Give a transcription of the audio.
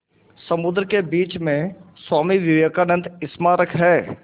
समुद्र के बीच में स्वामी विवेकानंद स्मारक है